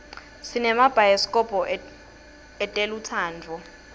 sinemabayisi kobho etelutsandvo